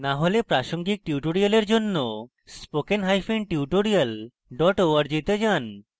না হলে প্রাসঙ্গিক tutorials জন্য spoken hyphen tutorial dot org তে যান